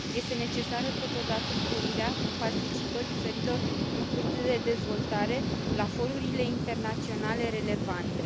Este necesară, totodată, sporirea participării țărilor în curs de dezvoltare la forurile internaționale relevante.